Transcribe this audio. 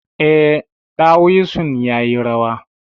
Eh, ɗawisun yayi rawa.